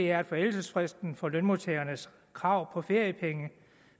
er at forældelsesfristen for lønmodtagernes krav på feriepenge